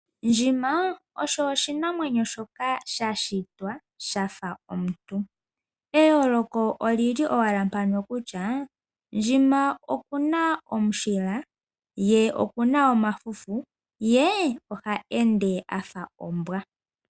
Ndjima osho oshinamwenyo shoka shashitwa shafa omuntu, eyoloko olili owala mpaka kutya ndjima okuna omushila ye okuna omafufu ye oha ende afa ombwa.